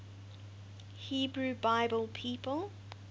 hebrew bible people